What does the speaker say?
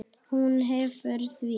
Hún hafnar því.